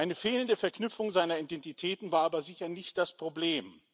Eine fehlende Verknüpfung seiner Identitäten war aber sicher nicht das Problem.